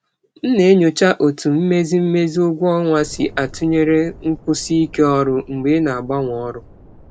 Ana m edekọ ka mmụba ụgwọ ọrụ si atụnyere nkwụsi ike ọrụ mgbe m na-agbanwe ọrụ.